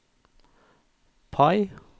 PIE